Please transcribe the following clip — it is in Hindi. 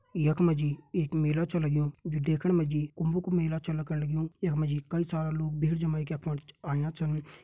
एक मे जी एक मेला चलेगयों जे देखने मे जी कुंभ का मेला चलग्यो एक मे जी की सारा लोग भीड़ जमाए कर आया जो।